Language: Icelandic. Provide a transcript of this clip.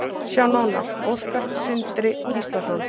Sjá nánar: Óskar Sindri Gíslason.